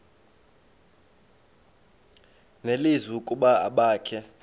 nelizwi ukuba abakhe